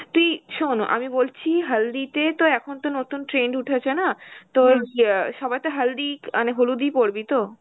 তুই শোন আমি বলছি হালদিতে তো এখন তো নতুন trend উঠেছে না তোর ইয়া সবাইতো হালদি মানে হলুদই পরবি তো